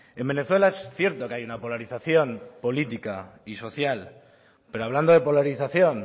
en venezuela es cierto que hay una polarización política y social pero hablando de polarización